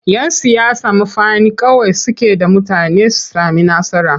Yan siyasa mafani kawai suke da mutane su sami nasara.